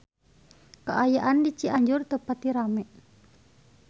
Kaayaan di Cianjur teu pati rame